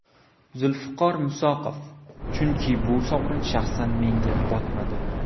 Zulfiqor Musoqov: Chunki bu sovrin shaxsan menga botmadi.